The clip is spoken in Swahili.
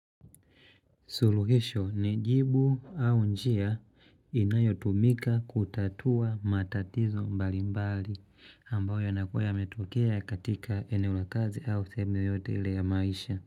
Suluhisho nijibu au njia inayotumika kutatua matatizo mbali mbali ambao yanakua yametokea katika eneo la kazi au seemu yoyote ile ya maisha.